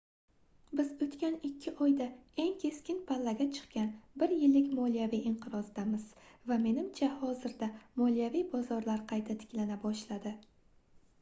biz oʻtgan ikki oyda eng keskin pallaga chiqqan bir yillik moliyaviy inqirozdamiz va menimcha hozirda moliyaviy bozorlar qayta tiklana boshladi